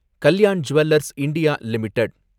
Kalyan jewellers India limited